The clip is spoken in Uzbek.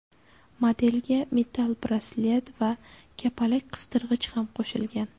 Modelga metall braslet va kapalak-qistirgich ham qo‘shilgan.